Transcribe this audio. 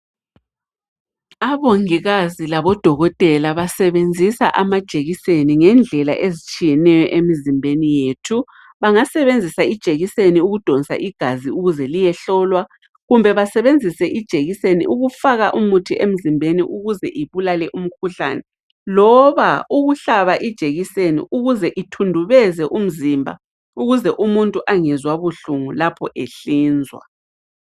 Abongikazi labodokotela basebenzisa amajekiseni ngendlela ezitshiyeneyo emzimbeni yethu. Bangasebenzisa ijekiseni ukudonsa igazi ukuze liyehlolwa kumbe basebenzise ijekiseni ukufaka umuthi emzimbeni ukuze ibulale umkhuhlane loba ukuhlaba ijekiseni ukuze ithundubeze umzimba ukuze umuntu angezwa buhlungu lapho ehlinzwa.